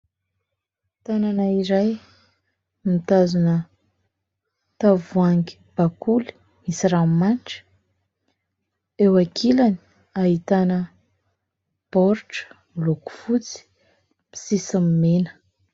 Tanana iray mitazona tavoahangy bakoly misy ranomanitra, eo ankilany ahitana baoritra miloko fotsy misy sisiny mena.